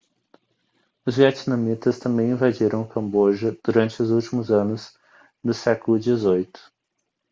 os vietnamitas também invadiram o camboja durante os últimos anos do século xviii